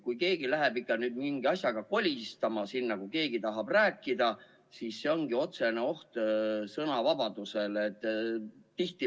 Kui ikka keegi läheb sinna mingi asjaga kolistama, kui keegi tahab rääkida, siis see ongi otsene oht sõnavabadusele.